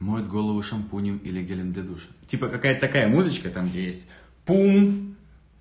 моет голову шампунем или гелем для душа типа какая-то такая музычка там где есть пум